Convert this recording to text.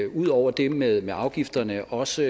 ud over det med med afgifterne også